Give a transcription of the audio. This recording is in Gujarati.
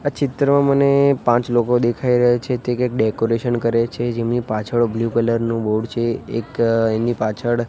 આ ચિત્રમાં મને પાંચ લોકો દેખાય રહ્યા છે તે કંઈક ડેકોરેશન કરે છે જેમની પાછળ બ્લુ કલર નું બોર્ડ છે એક એની પાછળ--